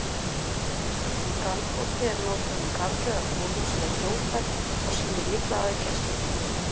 Orðið galgopi er notað um karl eða konu sem er fljótfær og sýnir litla aðgæslu.